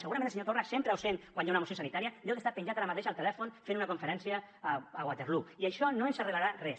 segurament el senyor torra sempre absent quan hi ha una moció sanitària deu estar penjat ara mateix al telèfon fent una conferència a waterloo i això no ens arreglarà res